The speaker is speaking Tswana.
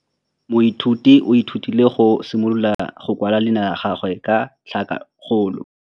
Moithuti o ithutile go simolola go kwala leina la gagwe ka tlhakakgolo.